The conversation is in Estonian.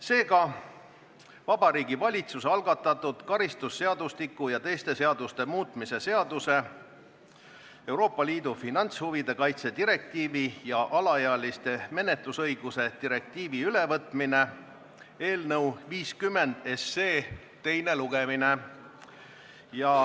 Seega, Vabariigi Valitsuse algatatud karistusseadustiku ja teiste seaduste muutmise seaduse eelnõu 50 teine lugemine.